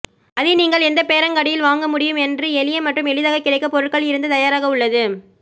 அதை நீங்கள் எந்த பேரங்காடியில் வாங்க முடியும் என்று எளிய மற்றும் எளிதாக கிடைக்க பொருட்கள் இருந்து தயாராக உள்ளது